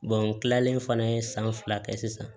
n kilalen fana ye san fila kɛ sisan